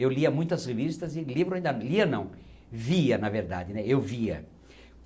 Eu lia muitas revistas e livros ainda, lia não, via na verdade, né, eu via